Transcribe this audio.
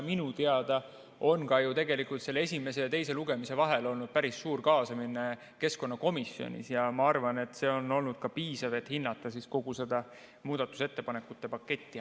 Minu teada on ju tegelikult selle esimese ja teise lugemise vahel olnud päris suur kaasamine keskkonnakomisjonis ja ma arvan, et see on olnud ka piisav, et hinnata kogu seda muudatusettepanekute paketti.